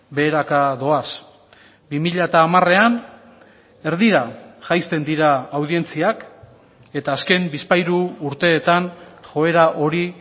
beheraka doaz bi mila hamarean erdira jaisten dira audientziak eta azken bizpahiru urteetan joera hori